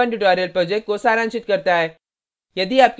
यह project को सारांशित करता है